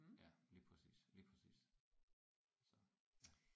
Ja lige præcis lige præcis så ja